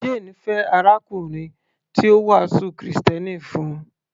Jane fẹ́ arákùnrin tí ó wàásù krìstẹ́nì fún un